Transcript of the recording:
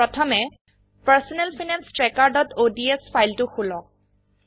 প্রথমে personal finance trackerঅডছ ফাইলটো খুলক